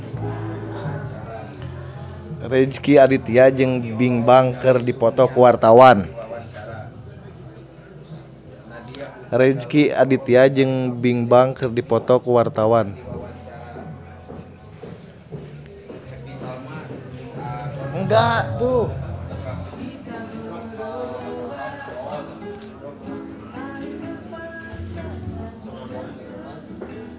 Rezky Aditya jeung Bigbang keur dipoto ku wartawan